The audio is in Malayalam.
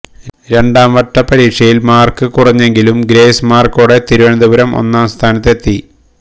രണ്ടാംവട്ട പരീക്ഷയില് മാര്ക്ക് കുറഞ്ഞെങ്കിലും ഗ്രേസ്മാര്ക്കോടെ തിരുവനന്തപുരം ഒന്നാം സ്ഥാനത്ത് എത്തി